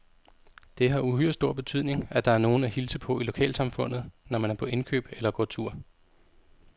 Det har uhyre stor betydning, at der er nogen at hilse på i lokalsamfundet, når man er på indkøb eller går tur.